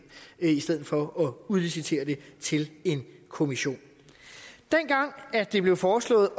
i stedet for at udlicitere det til en kommission dengang det blev foreslået